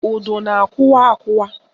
Udu na-akụwa akụwa